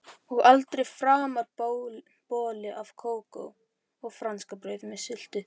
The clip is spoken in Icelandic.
Og aldrei framar bolli af kókó og franskbrauð með sultu.